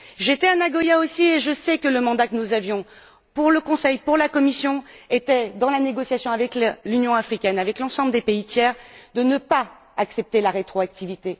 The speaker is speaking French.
J'étais moi aussi à Nagoya et je sais que le mandat que nous avions pour le Conseil, pour la Commission, dans la négociation avec l'Union africaine, avec l'ensemble des pays tiers, était de ne pas accepter la rétroactivité.